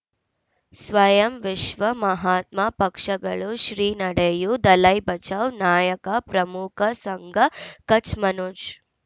ಸ್ವಯಂ ವಿಶ್ವ ಮಹಾತ್ಮ ಪಕ್ಷಗಳು ಶ್ರೀ ನಡೆಯೂ ದಲೈ ಬಚೌ ನಾಯಕ ಪ್ರಮುಖ ಸಂಘ ಕಚ್ ಮನೋಜ್